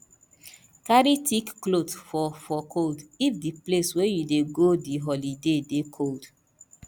carry thick cloth for for cold if di place wey you dey go di holiday dey cold